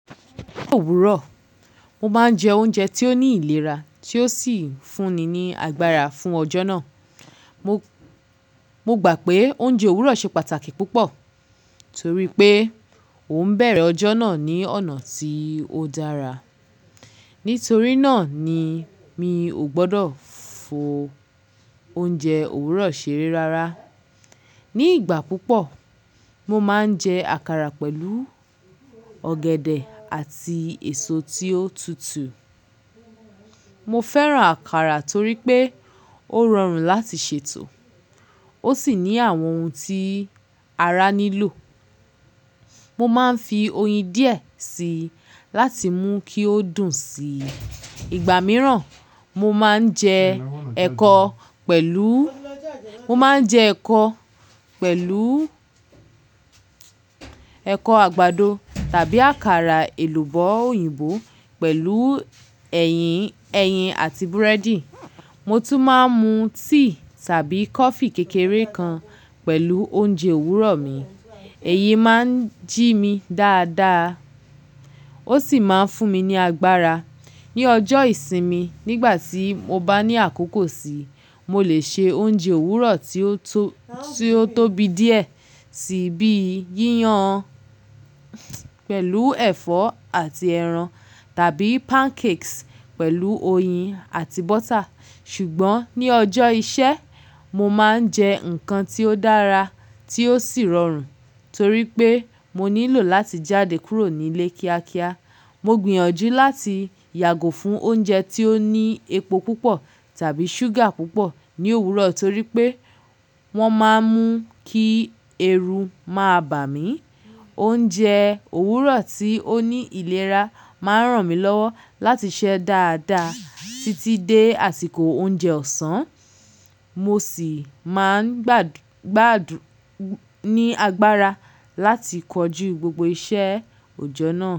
Òwúrọ̀, mo máa ń jẹ oúnjẹ tí ó ní ìlera tí ó sì ń fún ni ní agbára fún ọjọ́ náà. Mo, mo gbà pé oúnjẹ òwúrọ̀ ṣe pàtàkì púpọ̀ torí pé ó ń bẹ̀rẹ̀ ọjọ́ náà ní ọ̀nà tí ó dára. Nítorí náà ni mi ò gbọdọ̀ fo oúnjẹ òwúrọ̀ ṣeré rárá. Ni ìgbà púpọ̀, mo máa ń jẹ àkàrà pẹ̀lú ọ̀gẹ̀dẹ̀ àti èso tí ó tutù. Mo fẹ́ràn àkàrà torí pé ó rọrùn láti ṣètò, ó sì ní àwọn ohun tí ara nílò. Mo máa ń fi oyin díẹ̀ si láti mú kí ó dùn sí. Igba mìíràn, mo máa ń jẹ ẹ̀kọ pẹ̀lú, mo máa ń jẹ ẹ̀kọ pẹ̀lú ẹ̀kọ àgbàdo tàbí àkàrà èlùbọ́ òyìnbó pẹ̀lú ẹyin, ẹyin àti búrẹ́dì. Mo tún máa ń mu tea tàbí coffee kékeré kan pẹ̀lú oúnjẹ òwúrọ̀ mi. Èyí máa ń jí mi dáadáa, ó sì máa ń fún mi ní agbára. Ni ọjọ́ ìsinmi, nígbà tí mo bá ní àkókò sí, mo lè ṣe oúnjẹ òwúrọ̀ tí ó tó, tí ó tóbi díẹ̀ si bíi íyan pẹ̀lú ẹ̀fọ́ àti ẹran tàbí pancakes pẹ̀lú oyin àti butter. Ṣùgbọ́n ní ọjọ́ iṣẹ́, mo máa ń jẹ nǹkan tí ó dára tí ó sì rọrùn torí pé mo nílò láti jáde kúrò nílé kíákíá. Mo gbìyànjú láti yàgò fún oúnjẹ tí ó ní epo púpọ̀ tàbí ṣúgà púpọ̀ ní òwúrọ̀ torí pé wọ́n máa ń mú kí ẹru máa bà mí. Oúnjẹ òwúrọ̀ tí ó ní ìlera máa ràn mí lọ́wọ́ láti ṣe dáadáa títí dé àsìkò oúnjẹ ọ̀sán. Mo sì máa ń gbádù, gbádù ní agbára láti kọjú gbogbo iṣẹ́ òjọ́ náà.